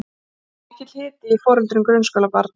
Mikill hiti í foreldrum grunnskólabarna